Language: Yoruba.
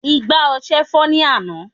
igbá ọsẹ fọ́ ní àná